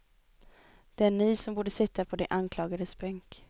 Det är ni som borde sitta på de anklagades bänk.